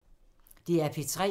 DR P3